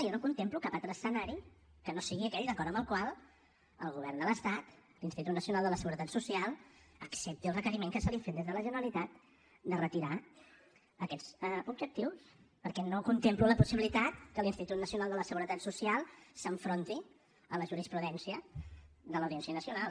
jo no contemplo cap altre escenari que no sigui aquell d’acord amb el qual el govern de l’estat l’institut nacional de la seguretat social accepti el requeriment que se li ha fet des de la generalitat de retirar aquests objectius perquè no contemplo la possibilitat que l’institut nacional de la seguretat social s’enfronti a la jurisprudència de l’audiència nacional